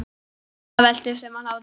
Dadda veltist um af hlátri.